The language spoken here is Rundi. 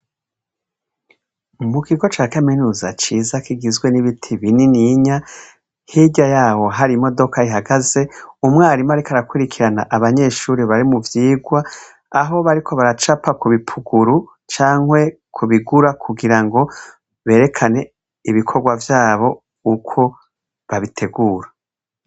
Mu gigo ca kaminuza ciza kigizwe n'ibiti binininya hirya yabo hari imodoka ihagaze umwarimu, ariko arakwirikirana abanyeshuri bari mu vyigwa aho bariko baracapa ku bipuguru cankwe kubigura kugira ngo berekane ibikorwa vyabo ukwo babitegura.